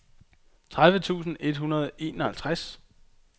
tredive tusind et hundrede og enoghalvtreds